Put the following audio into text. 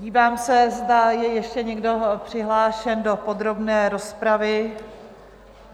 Dívám se, zda je ještě někdo přihlášen do podrobné rozpravy?